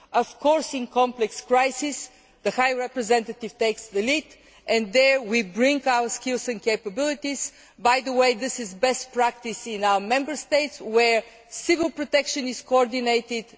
Of course, in complex crises the High Representative takes the lead and there we bring our skills and capabilities this is best practice in our Member States, where civil protection is coordinated.